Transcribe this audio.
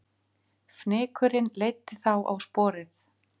Fnykurinn leiddi þá á sporið